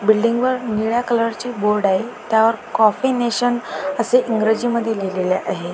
Building वर निळ्या colour ची बोर्ड आहे त्यावर कॉफी नेशन असे इंग्रजी मध्ये लिहिलेल आहे.